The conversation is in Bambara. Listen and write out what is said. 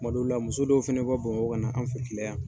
Kun ma dɔw la, muso dɔw fɛnɛ bɛ bɔ Bamakɔ kana an fɛ kile yan